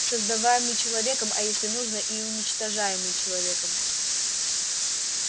создаваемый человеком а если нужно и уничтожаемый человеком